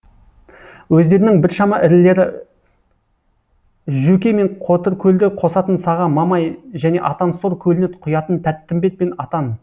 өздерінің біршама ірілері жөкей мен қотыркөлді қосатын саға мамай және атансор көліне құятын тәттімбет пен атан